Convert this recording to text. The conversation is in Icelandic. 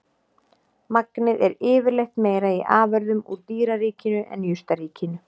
Magnið er yfirleitt meira í afurðum úr dýraríkinu en jurtaríkinu.